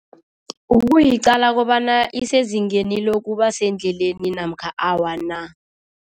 Ukuyiqala kobana isezingeni lokuba sendleleni namkha awa na.